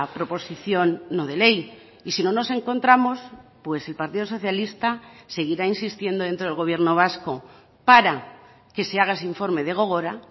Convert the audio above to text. proposición no de ley y si no nos encontramos pues el partido socialista seguirá insistiendo dentro del gobierno vasco para que se haga ese informe de gogora